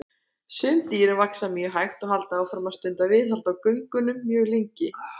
Sum dýrin vaxa mjög hægt og halda áfram að stunda viðhald á göngunum mjög lengi.